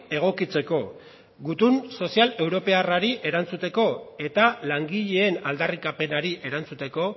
egokitzeko gutun sozial europearrari erantzuteko eta langileen aldarrikapenari erantzuteko